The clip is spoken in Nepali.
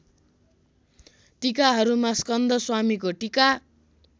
टीकाहरूमा स्कंदश्वामीको टीका